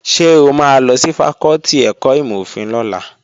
Ṣé o máa lọ sí fakọ́tì ẹ̀kọ́ ìmọ̀-òfin lọ́la?